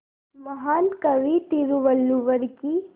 महान कवि तिरुवल्लुवर की